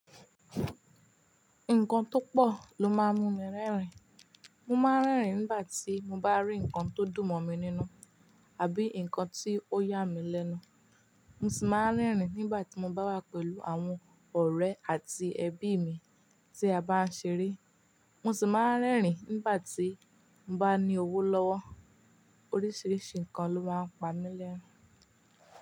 Nǹkan tó pọ̀ ló máa ń mú mi rẹ́rìn. Mo máa ń rẹ́rìn nígbà tí mo bá rí ǹkan tó dùn mọ̀ mi nínú, àbí ǹkan tí ó yà mí lẹ́nu. Mo sì máa ń rẹ́rìn nígbà tí mo bá wà pẹ̀lú àwọn ọ̀rẹ́ àti ẹbí mi tí a bá ń ṣeré. Mo sì máa ń rẹ́rìn nígbà tí mo bá ní owó lọ́wọ́. Oríṣiríṣi ǹkan ló máa ń pamí lẹ́rin.